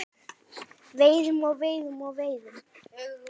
Veiðum og veiðum og veiðum.